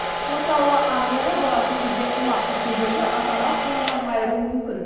мысалы англияда баласын үйде қамап кеткендерді ата ана құқығынан айыру мүмкін